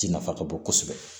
Ji nafa ka bon kosɛbɛ